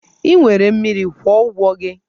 Ị nwere mmiri, kwụọ ụgwọ gị!